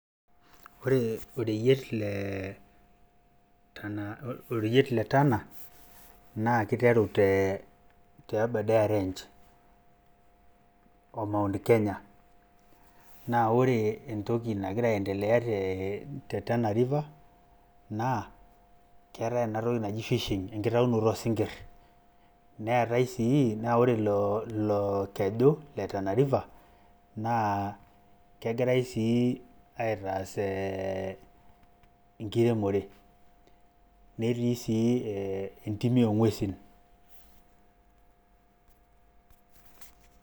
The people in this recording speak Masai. Ore oreyiet le Tana naa keiteru te Abadeere Range o Mount Kenya naa ore ore entoki nag'ira aendelea te Tana River, naa keetae enatoki naji fishing enkitayunoto oo sinkir. Naa ore ilokeju le Tana river, naa kegirai sii aitaa enkiremore netii sii entim oo ng'uesin.